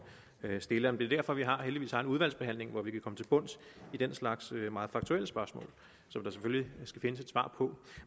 stiller men det er derfor vi heldigvis har en udvalgsbehandling hvor vi kan komme til bunds i den slags meget faktuelle spørgsmål som der selvfølgelig skal findes et svar på